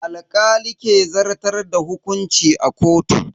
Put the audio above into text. Alkali ke zartar da hukunci a kotu.